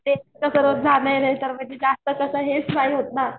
जास्त कस हेच नाही होत ना